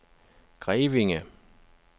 Grevinge